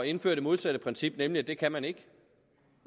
indføre det modsatte princip nemlig at det kan man ikke